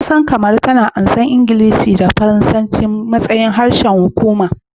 Kasar Kamaru, a halin yanzu tana karbar Ingilishi da Faransanci a matsayin harsunan hukuma